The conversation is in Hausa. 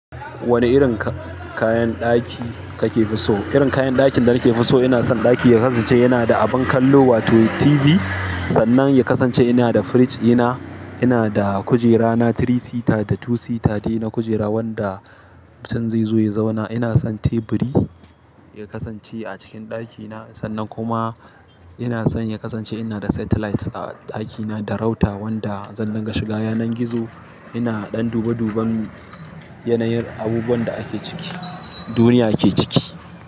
Wane irin kayan ɗaki kake so? Irin kayan ɗakin da nake so ina son ɗaki ya kasance yana da abin kallo wato TV. Sannan ya kasance ina da firij ɗina. Ina da kujera na three seater da two seater dai na kujera wanda mutum zai zo ya zauna. Ina son teburi ya kasance a cikin ɗakina. Sannan kuma ina son ya kasance yana da satellite a ɗakina da router wanda zan dinga shiga yanar gizo. Ina ɗan dube duban yanayin abubuwan da ake ciki, duniya ke ciki.